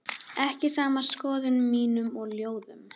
ekki saman skoðunum mínum og ljóðum.